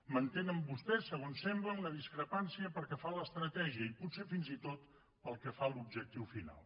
mantenen vostès segons sembla una discrepància pel que fa a l’estratègia i potser fins i tot pel que fa a l’objectiu final